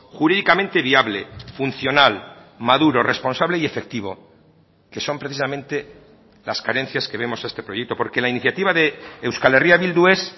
jurídicamente viable funcional maduro responsable y efectivo que son precisamente las carencias que vemos a este proyecto porque la iniciativa de euskal herria bildu es